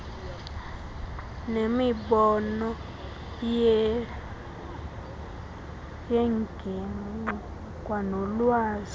nemibono yengingqi kwanolwazi